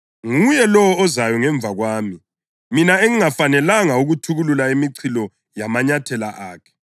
Nguye lowo ozayo ngemva kwami, mina engingafanelanga ukuthukulula imichilo yamanyathela akhe.”